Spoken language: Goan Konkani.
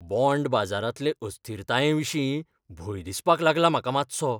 बॉण्ड बाजारांतले अस्थिरतायेविशीं भंय दिसपाक लागला म्हाका मातसो.